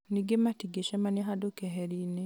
ningĩ matingĩcemania handũ keherinĩ